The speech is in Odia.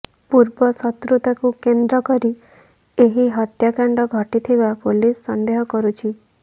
ପୂର୍ବ ଶତ୍ରୁତାକୁ କେନ୍ଦ୍ର କରି ଏହି ହତ୍ୟାକାଣ୍ଡ ଘଟିଥିବା ପୁଲିସ ସନ୍ଦେହ କରୁଛି